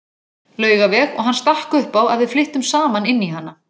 Laugaveg og hann stakk upp á að við flyttum saman inn í hana.